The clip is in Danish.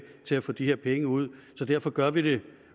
til at få de her penge ud så derfor gør vi det